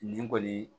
Nin kɔni